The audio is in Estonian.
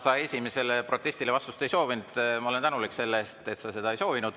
Sa esimesele protestile vastust ei soovinud ja ma olen tänulik selle eest, et sa seda ei soovinud.